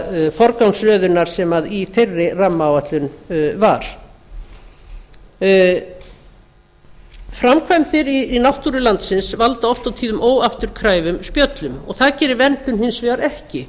þeirrar forgangsröðunar sem í þeirri rammaáætlun var framkvæmdir í náttúru landsins valda oft og tíðum óafturkræfum spjöllum en það gerir verndun hins vegar ekki